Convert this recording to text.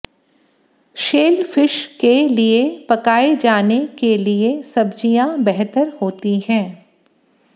shellfish के लिए पकाए जाने के लिए सब्जियां बेहतर होती हैं